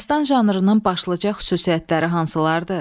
Dastan janrının başlıca xüsusiyyətləri hansılardır?